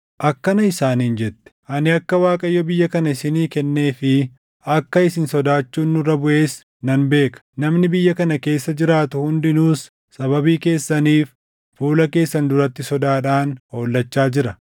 akkana isaaniin jette; “Ani akka Waaqayyo biyya kana isinii kennee fi akka isin sodaachuun nurra buʼes nan beeka; namni biyya kana keessa jiraatu hundinuus sababii keessaniif fuula keessan duratti sodaadhaan hollachaa jira.